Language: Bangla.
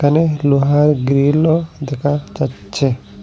এখানে লোহার গ্রিলও দেখা যাচ্ছে।